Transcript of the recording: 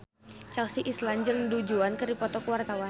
Chelsea Islan jeung Du Juan keur dipoto ku wartawan